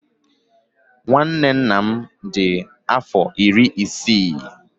Ọnkụlụ m di aro iri isii.